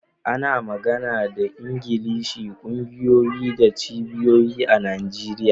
Ana magana da Ingilishi a kungiyoyi da cibiyoyi a Najeriya.